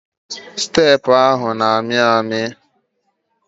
Steepụ ahụ na-amị amị.